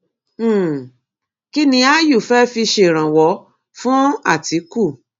um kín ni aáyù fé fi ṣèrànwọ́ fún àtíkù